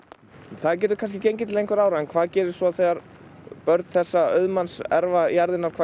það getur kannski gengið til einhverra ára en hvað gerist svo þegar börn þessa auðmanns erfa jarðirnar hvað